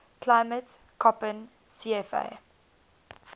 climate koppen cfa